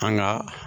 An ga